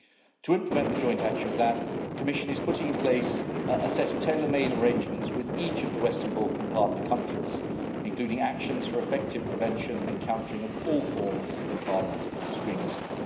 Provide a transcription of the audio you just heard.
To implement the Joint Action Plan, the Commission is putting in place a set of tailor-made arrangements with each of the Western Balkan partner countries, including actions for effective prevention and countering of all forms of violent extremism.